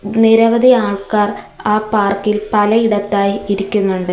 നിരവധി ആൾക്കാർ ആ പാർക്ക് ഇൽ പലയിടത്തായി ഇരിക്കുന്നുണ്ട്.